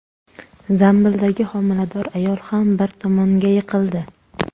Zambildagi homilador ayol ham bir tomonga yiqildi.